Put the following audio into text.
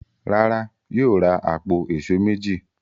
Rárá, Yóò ra àpò èṣó méjì.